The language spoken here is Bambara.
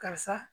Karisa